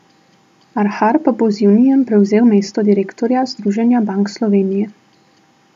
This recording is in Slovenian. Arhar pa bo z junijem prevzel mesto direktorja Združenja bank Slovenije.